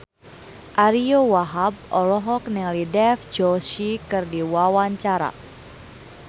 Ariyo Wahab olohok ningali Dev Joshi keur diwawancara